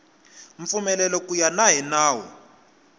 mpfumelelo ku ya hi nawu